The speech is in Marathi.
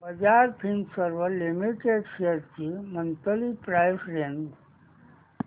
बजाज फिंसर्व लिमिटेड शेअर्स ची मंथली प्राइस रेंज